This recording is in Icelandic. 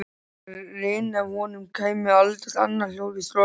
Þegar rynni af honum kæmi aldeilis annað hljóð í strokkinn.